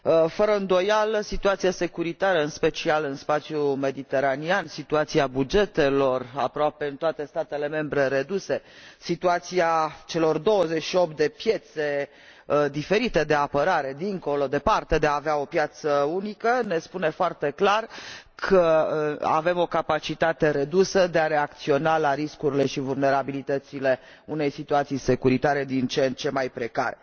Fără îndoială, situația securitară, în special în spațiul mediteranean, situația bugetelor, reduse aproape în toate statele membre, situația celor 28 de piețe diferite de apărare, departe de a avea o piață unică, ne spune foarte clar că avem o capacitate redusă de a reacționa la riscurile și vulnerabilitățile unei situații securitare din ce în ce mai precare.